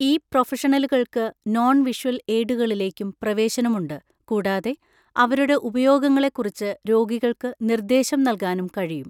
ഈ പ്രൊഫഷണലുകൾക്ക് non visual എയ്ഡുകളിലേക്കും പ്രവേശനമുണ്ട് കൂടാതെ അവരുടെ ഉപയോഗങ്ങളെക്കുറിച്ച് രോഗികൾക്ക് നിർദ്ദേശം നൽകാനും കഴിയും.